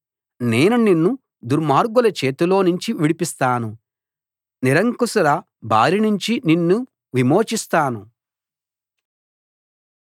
నేను నిన్ను దుర్మార్గుల చేతిలోనుంచి విడిపిస్తాను నిరంకుశుల బారినుంచి నిన్ను విమోచిస్తాను